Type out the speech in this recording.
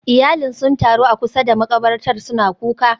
Iyalin sun taru a kusa da makabartar suna kuka